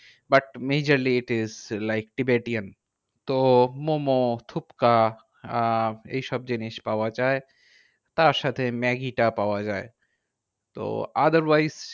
But majorly it is like tibetan. তো মোমো, থুপকা আহ এইসব জিনিস পাওয়া যায়। তারসাথে ম্যাগিটা পাওয়া যায়। তো otherwise